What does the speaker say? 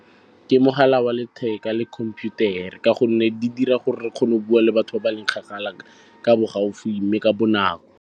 Ke mogala wa letheka le computer-a ka gonne di dira gore re kgone go bua le batho ba ba leng kgakala ka bo gaufi mme ka bonako.